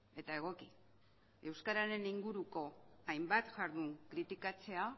eta egoki euskararen inguruko hainbat jardun kritikatzea